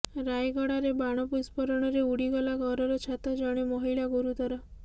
ରାୟଗଡ଼ାରେ ବାଣ ବିସ୍ପୋରଣରେ ଉଡ଼ିଗଲା ଘରର ଛାତ ଜଣେ ମହିଳା ଗୁରୁତର